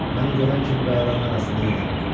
Məni görən kimi qayaların arasında yox oldu.